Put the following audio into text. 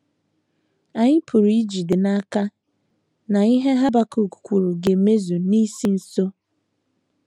Anyị pụrụ ijide n’aka na ihe Habakuk kwuru ga - emezu n’isi nso.